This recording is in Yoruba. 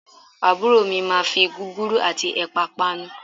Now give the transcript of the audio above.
Àbúrò mi máa fi gúgúrú àti ẹ̀pà panu